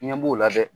Ɲɛ b'o la dɛ